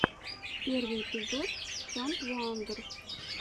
первый эпизод чандрвуандр